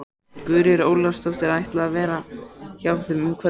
Guðríður Ólafsdóttir ætlaði að vera hjá þeim um kvöldið.